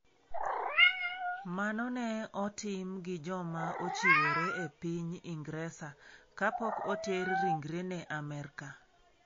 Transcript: Mano ne otim gi joma ochiwore e piny Ingresa kapok oter ringrene Amerka.